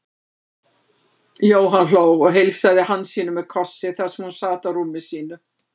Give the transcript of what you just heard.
Jóhann hló og heilsaði Hansínu með kossi þar sem hún sat á rúmi sínu.